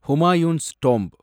Humayun's tomb